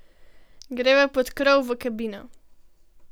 Greva pod krov v kabino.